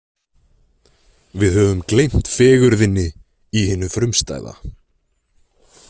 Við höfum gleymt fegurðinni í hinu frumstæða.